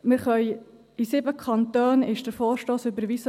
In 7 Kantonen wurde der Vorstoss überwiesen.